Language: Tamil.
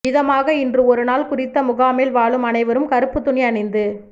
விதமாக இன்று ஒருநாள் குறித்த முகாமில் வாழும் அனைவரும் கறுப்புத் துணி அணிந்து